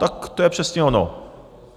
Tak to je přesně ono.